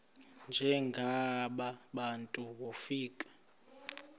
njengaba bantu wofika